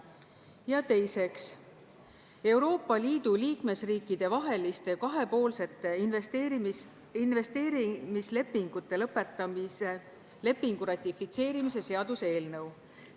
Ja teiseks, Euroopa Liidu liikmesriikide vaheliste kahepoolsete investeerimislepingute lõpetamise lepingu ratifitseerimise seaduse eelnõu.